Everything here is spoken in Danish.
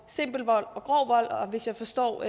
simpel vold og grov vold og hvis jeg forstår